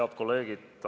Head kolleegid!